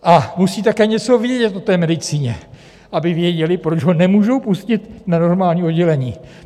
A musí také něco vědět o té medicíně, aby věděli, proč ho nemůžou pustit na normální oddělení.